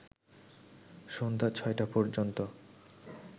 সন্ধ্যা ৬টা পর্যন্ত